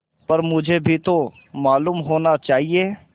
पर मुझे भी तो मालूम होना चाहिए